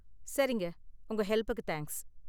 சரிங்க, உங்க ஹெல்ப்புக்கு தேங்க்ஸ்.